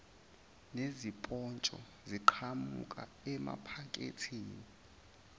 nezipotsho ziqhamuka emaphaketheni